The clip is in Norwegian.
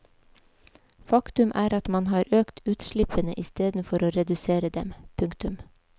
Faktum er at man har økt utslippene isteden for å redusere dem. punktum